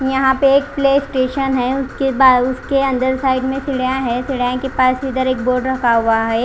यहां पे एक प्ले स्टेशन है उसके अंदर साइड में सीढ़ियां हैं सीढ़ियों के पास इधर एक बोर्ड रखा हुआ है।